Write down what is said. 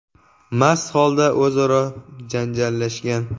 mast holda o‘zaro janjallashgan.